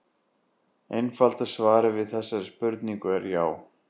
Einfalda svarið við þessari spurningu er já.